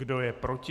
Kdo je proti?